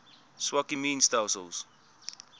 swak immuun stelsels